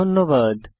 ধন্যবাদ